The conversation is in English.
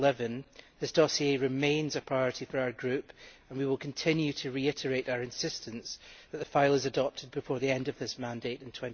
2011. This dossier remains a priority for our group and we will continue to reiterate our insistence that the file be adopted before the end of this mandate in